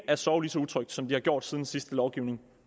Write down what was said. at sove så utrygt som de har gjort siden den sidste lovgivning